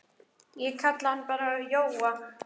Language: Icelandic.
Ég kalla hann bara Jóa.